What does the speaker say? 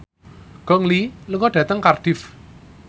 Gong Li lunga dhateng Cardiff